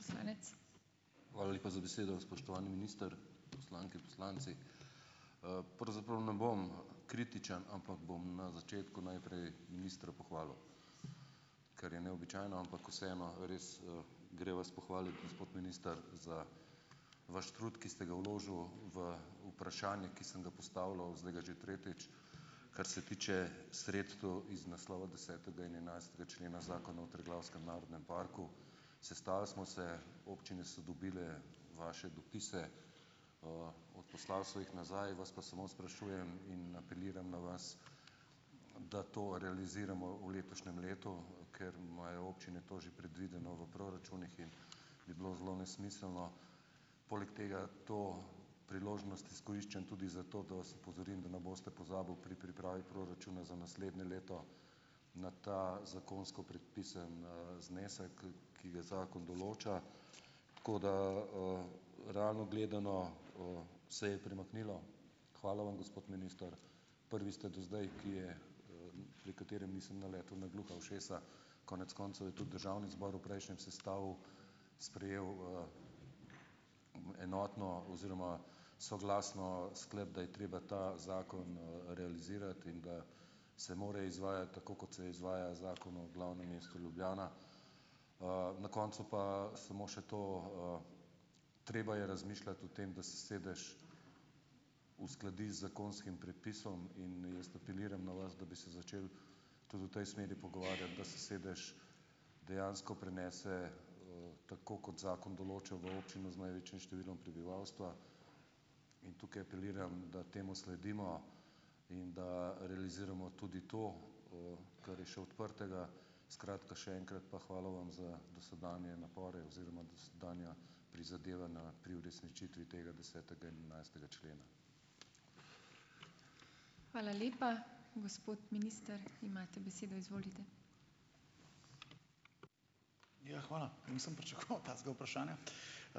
Hvala lepa za besedo. Spoštovani minister, poslanke, poslanci! Pravzaprav ne bom kritičen, ampak bom na začetku najprej ministra pohvalil, kar je neobičajno, ampak vseeno, res, gre vas pohvaliti, gospod minister za vaš trud, ki ste ga vložil v vprašanje, ki sem ga postavljal, zdaj ga že tretjič, kar se tiče sredstev iz naslova desetega in enajstega člena Zakona o Triglavskem narodnem parku. Sestali smo se, občine so dobile vaše dopise, poslali so jih nazaj, vas pa samo sprašujem in apeliram na vas, da to realiziramo v letošnjem letu, ker imajo občine to že predvideno v proračunih in bi bilo zelo nesmiselno. Poleg tega to priložnost izkoriščam tudi zato, da vas opozorim, da ne boste pozabili pri pripravi proračuna za naslednje leto na ta zakonsko predpisani, znesek, ki ga zakon določa, tako da, realno gledano se je premaknilo. Hvala vam, gospod minister, prvi ste do zdaj, ki je, pri katerem nisem naletel na gluha ušesa. Konec koncev je tudi državni zbor v prejšnjem sestavu sprejel enotno oziroma soglasno sklep, da je treba ta zakon realizirati, in ga se more izvajati tako, kot se izvaja Zakon o glavnem mestu Ljubljana. Na koncu pa samo še to. Treba je razmišljati o tem, da sedež uskladi zakonskim predpisom, in jaz apeliram na vas, da bi se začeli tudi v tej smeri pogovarjati, da se sedež dejansko prenese, tako kot zakon določa, v občino z največjim številom prebivalstva in tukaj apeliram, da temu sledimo, in da realiziramo tudi to, kar je še odprtega. Skratka, še enkrat pa hvala vam za dosedanje napore oziroma dosedanja prizadevanja pri uresničitvi tega, desetega in enajstega člena.